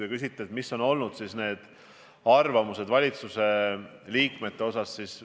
Te küsite, millised on olnud valitsuse liikmete arvamused.